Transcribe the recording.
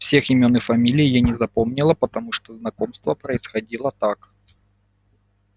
всех имён и фамилий я не запомнила потому что знакомство происходило так